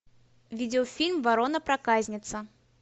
видеофильм ворона проказница